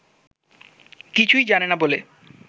কিছু্ই জানে না বলে